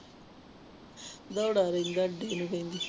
ਦੌੜਾ ਰਹਿੰਦਾ ਅੱਢੇ ਨੂੰ ਕਹਿੰਦੀ।